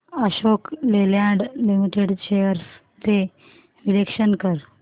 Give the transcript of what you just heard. Ashok Leyland Limited shares चे विश्लेषण कर